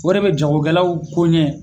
O de bɛ jagokɛlaw ko ɲɛ